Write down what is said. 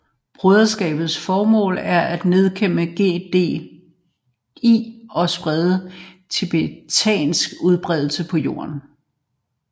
Broderskabets formål er at nedkæmpe GDI og sprede tiberiums udbredelse på jorden